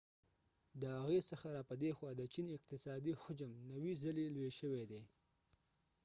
د هغی څخه را پدی خوا د چین اقتصادی حجم 90 ځلی لوی شوی دی